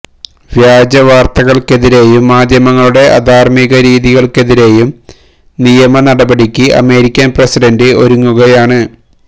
വ്യാജ വാർത്തകൾക്കെതിരെയും മാധ്യമങ്ങളുടെ അധാർമിക രീതികൾക്കെതിരെയും നിയമ നടപടിക്ക് അമേരിക്കൻ പ്രസിഡന്റ് ഒരുങ്ങുകയാണ്